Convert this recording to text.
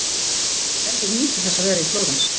Gerður nýtur þess að vera í Flórens.